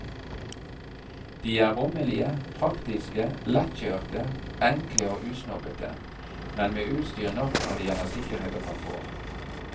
De er rommelige, praktiske, lettkjørte, enkle og usnobbete, men med utstyr nok når det gjelder sikkerhet og komfort.